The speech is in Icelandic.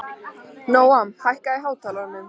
Nóam, hækkaðu í hátalaranum.